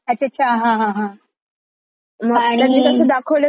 मग त्यांनी आणि तास दाखवलय कि कळेल थोड लोकांना पण.